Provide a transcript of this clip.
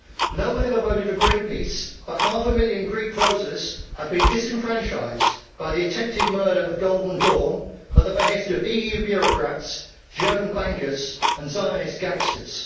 No one ever voted for Greenpeace, but half a million Greek voters have been disenfranchised by the attempted murder of Golden Dawn at the behest of EU bureaucrats, German bankers and Zionist gangsters.